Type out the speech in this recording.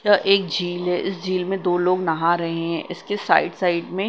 यह एक झील है इस झील में दो लोग नहा रहे हैं इसके साइड साइड में--